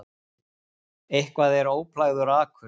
Eitthvað er óplægður akur